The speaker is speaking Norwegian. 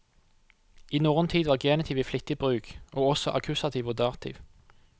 I norrøn tid var genitiv i flittig bruk, og også akkusativ og dativ.